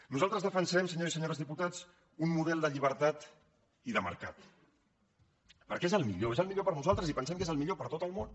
nosaltres defensarem senyors i senyores diputats un model de llibertat i de mercat perquè és el millor és el millor per a nosaltres i pensem que és el millor per a tot el món